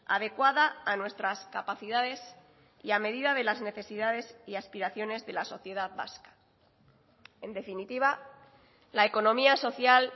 adecuada a nuestras capacidades y a medida de las necesidades y aspiraciones de la sociedad vasca en definitiva la economía social